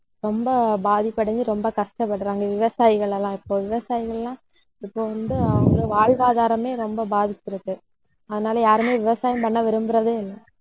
ரொம்ப பாதிப்படைஞ்சு ரொம்ப கஷ்டப்படுறாங்க. விவசாயிகள் எல்லாம் இப்ப விவசாயிகள் எல்லாம் இப்ப வந்து அவங்க வாழ்வாதாரமே ரொம்ப பாதிச்சிருக்கு. அதனால, யாருமே விவசாயம் பண்ண விரும்புறதே இல்லை